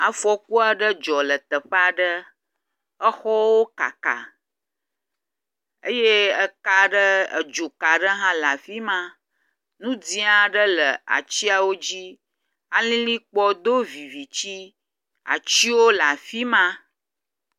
Afɔku aɖe dzɔ le teƒe aɖe,, exɔwo kaka eye eka aɖe, dzo ka aɖe hã nɔ afima, nu dzẽ aɖe le atsiawo dzi. Alilikpoɔ do vivitsi, atsio le afima.